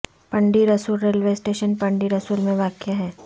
Pindi Rasool railway station Pindi Rasool میں واقع ہے